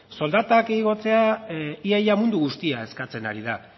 soldata igotzea ia ia mundu guztia eskatzen ari da